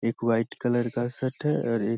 एक white colour का set है और एक --